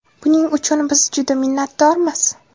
Buning uchun biz juda minnatdormiz.